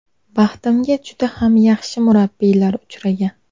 Baxtimga juda ham yaxshi murabbiylar uchragan.